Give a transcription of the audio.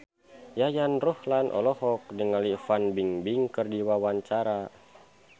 Yayan Ruhlan olohok ningali Fan Bingbing keur diwawancara